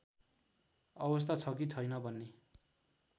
अवस्था छ कि छैन भन्ने